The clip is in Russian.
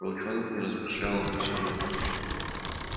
волчонок не размышлял обо всем этом